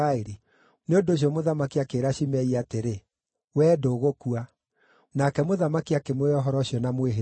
Nĩ ũndũ ũcio mũthamaki akĩĩra Shimei atĩrĩ, “Wee ndũgũkua.” Nake mũthamaki akĩmũhe ũhoro ũcio na mwĩhĩtwa.